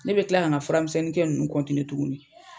Ne be kila ka na fura misɛnnin kɛ nunnu tuguni .